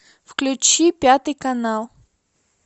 включи пятый канал